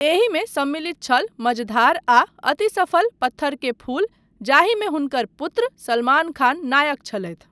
एहिमे सम्मिलित छल 'मझधार' आ अति सफल 'पत्थर के फूल' जाहिमे हुनकर पुत्र सलमान खान नायक छलथि।